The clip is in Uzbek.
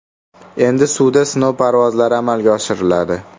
Endi suvda sinov parvozlari amalga oshiriladi.